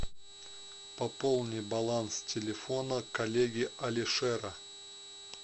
пополни баланс телефона коллеги алишера